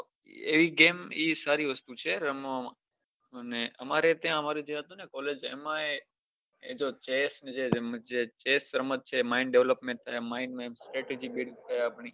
એવી game એ સારી વસ્તુ છે રમવામાં અમારે ત્યાં હતી ને college એ જે chess જે રમત છે જેમાં miand development થાય છે maind ની strategy build થાય આપની